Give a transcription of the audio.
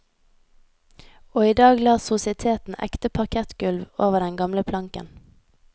Og i dag la sositeten ekte parkettgulv over den gamle planken.